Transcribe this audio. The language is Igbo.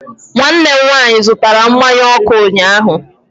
Nwanne m nwaanyị zụtara mmanụ ọkụ ụnyahụ.